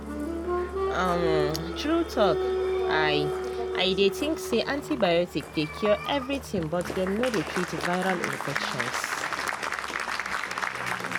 umtrue talk i i dey think say antibiotics dey cure everything but dem no dey treat viral infections.